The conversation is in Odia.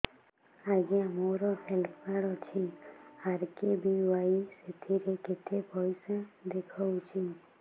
ଆଜ୍ଞା ମୋର ହେଲ୍ଥ କାର୍ଡ ଅଛି ଆର୍.କେ.ବି.ୱାଇ ସେଥିରେ କେତେ ପଇସା ଦେଖଉଛି